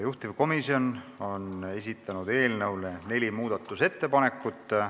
Juhtivkomisjon on esitanud eelnõu kohta neli muudatusettepanekut.